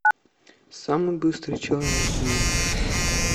самый быстрый человек в мире